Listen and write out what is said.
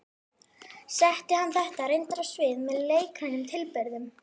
Setti hann þetta reyndar á svið með leikrænum tilburðum.